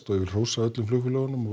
og vill hrósa öllum flugfélögum